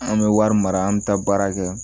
An bɛ wari mara an bɛ taa baara kɛ